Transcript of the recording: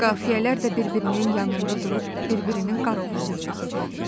Qafiyələr də bir-birinin yanında durub, bir-birinin qaraovulunu çəkəcəydilər.